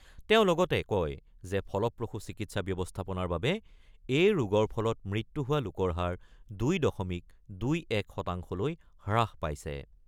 তেওঁ লগতে কয় যে ফলপ্ৰসূ চিকিৎসা ব্যৱস্থাপনাৰ বাবে এই ৰোগৰ ফলত মৃত্যু হোৱা লোকৰ হাৰ ২ দশমিক ২-১ শতাংশলৈ হ্ৰাস পাইছে।